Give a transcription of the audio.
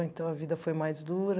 Então a vida foi mais dura.